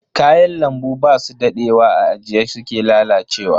Kayan lambu basu dadewa a ajiye suke lalacewa.